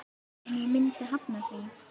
En ég myndi hafna því.